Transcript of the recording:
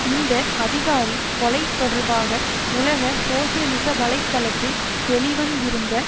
இந்த அதிகாரி கொலை தொடர்பாக உலக சோசியலிச வலை தளத்தில் வெளிவந்திருந்த